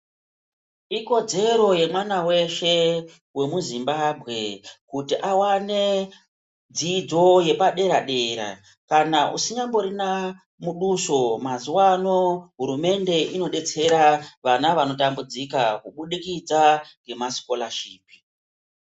Ikodzero yemwana weshe wemuZimbabwe kuti awane dzidzo yepadera dera kana usinyamborina muduso mazuva ano hurumende inodetsera vana vanotambura kubudikidza nema sikorashipi.